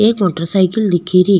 एक motorcycle दिखे री।